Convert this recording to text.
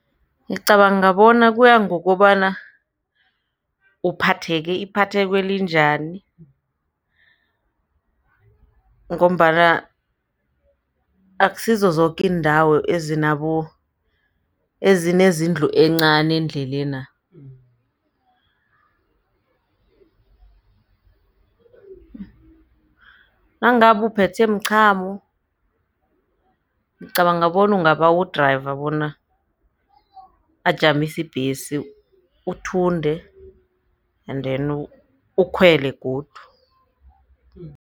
Ngicabanga bona kuya ngokobana uphatheke iphatheko elinjani ngombana akusizo zoke iindawo ezinezindlu encani endlelena nangabe uphethwe mchamo ngicabanga bona ungabawu-driver bona ajamise ibhesi uthunde and then ukhwele godu.